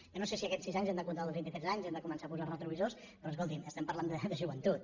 jo no sé si en aquests sis anys hem de comptar els vint i tres anys hem de començar a posar retrovisors però escoltin estem parlant de joventut